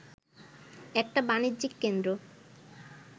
একটা বাণিজ্যিক কেন্দ্র